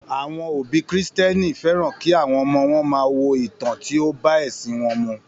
Àwọn òbí kìrìsìténì fẹ́ràn kí àwọn ọmọ wọn máa wo ìtàn tí ó bá ẹṣin wọn mu